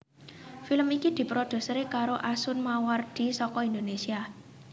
Film iki diproduseri karo Asun Mawardi saka Indonésia